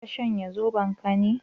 Ka shanye Zobon ka ne?